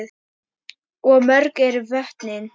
Og mörg eru vötnin.